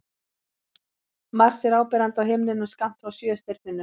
Mars er áberandi á himninum skammt frá Sjöstirninu.